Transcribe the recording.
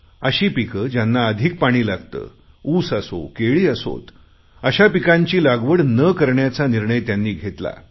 अशी पिकं ज्यांना अधिक पाणी लागते उस असो केळी असोत अशा पिकांची लागवड न करण्याचा निर्णय त्यांनी घेतला